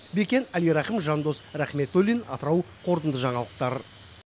бекен әлирахым жандос рахметуллин атырау қорытынды жаңалықтар